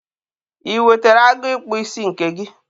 I wetere agụ ịkpụ isi nke gị?